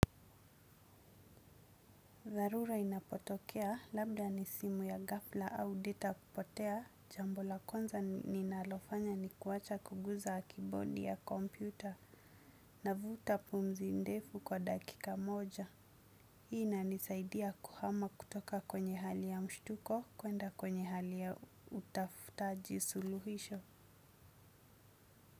Zarura inapotokea, labda ni simu ya gafla au data kupotea, jambo la kwanza ninalofanya ni kuacha kuguza keyboard ya kompyuta, navuta pumzi ndefu kwa dakika moja. Hii inanisaidia kuhama kutoka kwenye hali ya mshtuko kuenda kwenye hali ya utafutaji suluhisho.